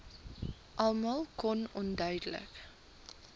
almal kon onduidelik